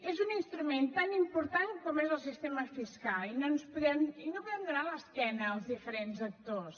és un instrument tan important com ho és el sistema fiscal i no podem donar l’esquena als diferents actors